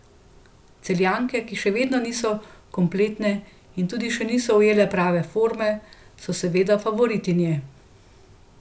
Celjanke, ki še vedno niso kompletne in tudi še niso ujele prave forme, so seveda favoritinje.